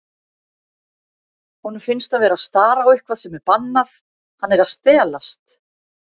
Honum finnst hann vera að stara á eitthvað sem er bannað, hann er að stelast.